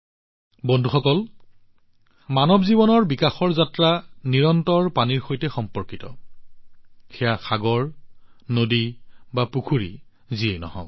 বন্ধুসকল মানৱ জীৱনৰ বিকাশযাত্ৰা নিৰন্তৰে পানীৰ সৈতে সম্পৰ্কিত সেয়া সাগৰেই হওক নদী বা পুখুৰীয়েই হওক